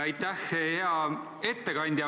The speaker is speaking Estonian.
Aitäh, hea ettekandja!